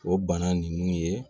O bana nunnu ye